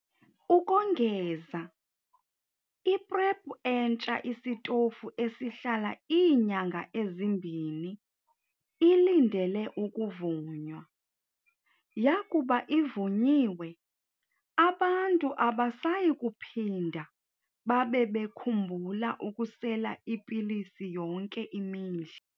Ukongeza, i-PrEP entsha isitofu esihlala iinyanga ezimbini ilindele ukuvunywa. Yakuba ivunyiwe, abantu abasayi kuphinda babe bekhumbula ukusela ipilisi yonke imihla.